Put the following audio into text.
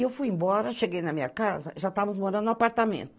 E eu fui embora, cheguei na minha casa, já estávamos morando no apartamento.